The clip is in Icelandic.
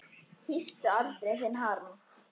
Hýstu aldrei þinn harm.